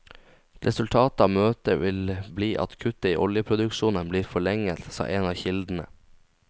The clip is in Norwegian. Resultatet av møtet vil bli at kuttet i oljeproduksjonen blir forlenget, sa en av kildene.